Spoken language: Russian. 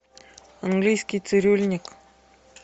английский цирюльник